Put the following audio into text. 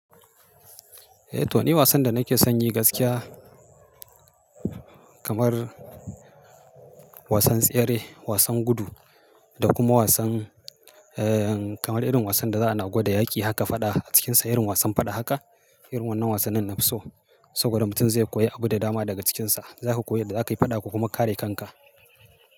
Eh to ni wasan da nake son yi gaskiya kamar wasan tsere, wasan gudu da kuma wasan eh kamar irin wasan da za a na gwada yaƙi haka faɗa a cikinsa irin wasan faɗa haka, irin wannan wasannin nafi so. Saboda mutum zai koyi abu da dama daga cikinsa. Zaku koyi yadda zakayi faɗa ko kuma kare kanka.